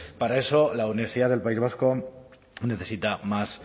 para eso la universidad del país vasco necesita más